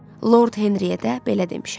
Lord Henriyə də belə demişəm.